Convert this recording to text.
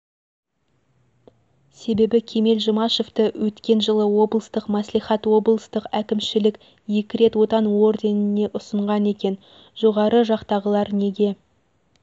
себебі кемел жұмашевті өткен жылы облыстық мәслихат облыстық әкімшілк екі рет отан орденіне ұсынған екен жоғары жақтағылар неге